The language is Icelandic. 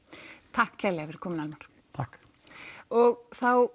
takk kærlega fyrir komuna Almar takk og þá